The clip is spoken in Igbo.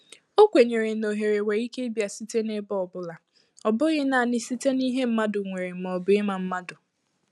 Ọ kwenyere ná ohere nwèrè íké ịbịa site n’ebe ọbụla, ọ bụghị naanị site n’ìhè mmadụ nwèrè ma ọ bụ ịma mmadụ